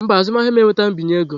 Mba, azụmahịa m enwetaghị mbinye ego.